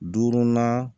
Duurunan